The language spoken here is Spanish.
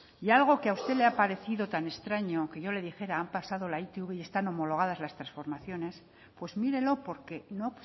y algo que a usted le ha parecido tan extraño que yo le dijera han pasado la itv y están homologadas las transformaciones pues mírelo porque no